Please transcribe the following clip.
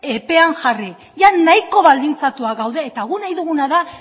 pean jarri jada nahiko baldintzatuak gaude eta guk nahi duguna da